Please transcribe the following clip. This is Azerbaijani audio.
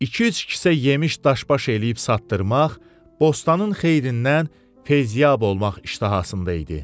İki-üç kisə yemiş daş-baş eləyib satdırmaq, bostanın xeyirindən feyziyab olmaq iştahasında idi.